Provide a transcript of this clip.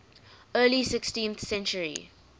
early sixteenth century